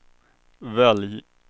välj